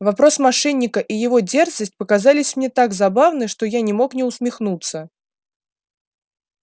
вопрос мошенника и его дерзость показались мне так забавны что я не мог не усмехнуться